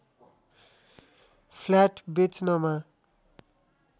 flat बेच्नमा